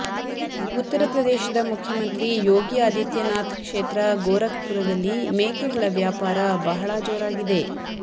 ಉತ್ತರ ಪ್ರದೇಶದ ಮುಖ್ಯಮಂತ್ರಿ ಯೋಗಿ ಆದಿತ್ಯನಾಥ್ ಕ್ಷೇತ್ರ ಗೋರಖ್ ಪರದಲ್ಲಿ ಮೇಕೆಗಳ ವ್ಯಾಪಾರ ಬಹಳ ಜೋರಾಗಿದೆ